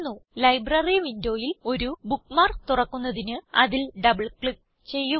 library വിൻഡോയിൽ ഒരു bookmark തുറക്കുന്നതിന് അതിൽ ഡബിൾ ക്ലിക്ക് ചെയ്യുക